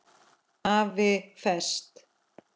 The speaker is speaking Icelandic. AFI Fest